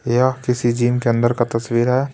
यह किसी जिम के अंदर का तस्वीर है.